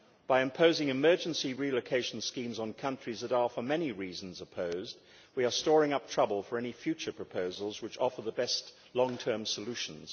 By imposing emergency relocation schemes on countries that are for many reasons opposed, we are storing up trouble for any future proposals which offer the best long term solutions.